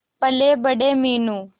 पलेबड़े Meenu